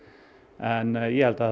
en ég held að það